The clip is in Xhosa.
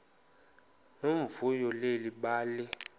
nomvuyo leli bali